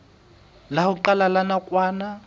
la ho qala la nakwana